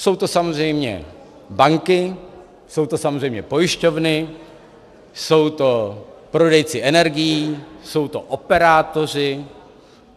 Jsou to samozřejmě banky, jsou to samozřejmě pojišťovny, jsou to prodejci energií, jsou to operátoři.